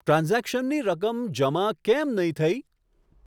ટ્રાન્ઝેક્શનની રકમ જમા કેમ નહીં થઈ?